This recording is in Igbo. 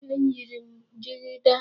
Eyiri m jigida.